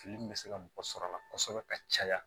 Fili min bɛ se ka mɔgɔ sɔrɔ a la kosɛbɛ ka caya